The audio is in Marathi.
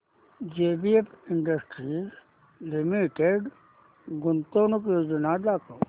जेबीएफ इंडस्ट्रीज लिमिटेड गुंतवणूक योजना दाखव